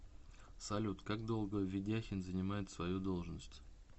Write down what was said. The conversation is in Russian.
салют как долго ведяхин занимает свою должность